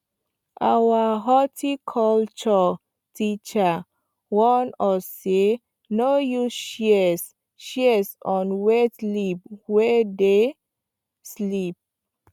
our horticulture teacher warn us say no use shears shears on wet leaf wey dey slip